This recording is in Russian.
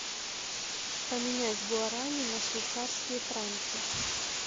поменять гуарани на швейцарские франки